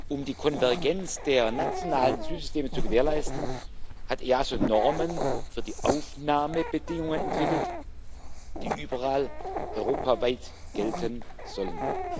Um die Konvergenz der nationalen Asylsysteme zu gewährleisten, hat das EASO Normen für die Aufnahmebedingungen entwickelt, die überall europaweit gelten sollen.